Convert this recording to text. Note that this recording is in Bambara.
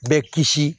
Bɛ kisi